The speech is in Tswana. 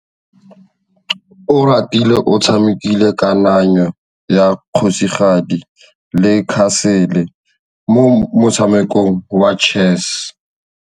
Oratile o tshamekile kananyô ya kgosigadi le khasêlê mo motshamekong wa chess.